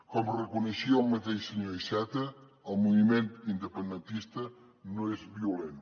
com reconeixia el mateix senyor iceta el moviment independentista no és violent